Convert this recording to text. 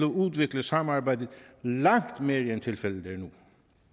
udvikle samarbejdet langt mere end tilfældet er nu